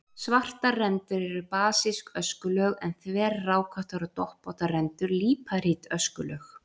Svartar rendur eru basísk öskulög en þverrákóttar og doppóttar rendur líparít öskulög.